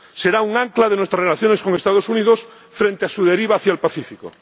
Será un ancla de nuestras relaciones con los Estados Unidos frente a su deriva hacia el Pacífico.